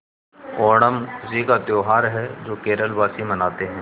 ओणम खुशी का त्यौहार है जो केरल वासी मनाते हैं